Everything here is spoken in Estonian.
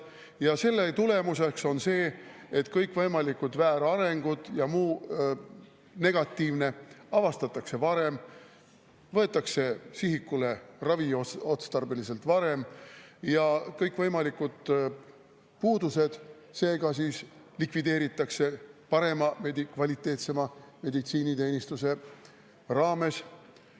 Ja selle tulemuseks on see, et kõikvõimalikud väärarengud ja muu negatiivne avastatakse varem, võetakse sihikule raviotstarbeliselt varem ja kõikvõimalikud puudused seega likvideeritakse parema, veidi kvaliteetsema meditsiiniteenuse raames.